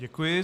Děkuji.